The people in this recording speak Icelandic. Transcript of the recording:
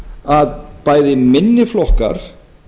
að bæði minni flokkar